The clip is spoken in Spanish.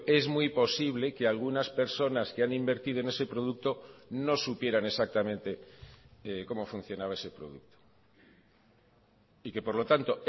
es muy posible que algunas personas que han invertido en ese producto no supieran exactamente cómo funcionaba ese producto y que por lo tanto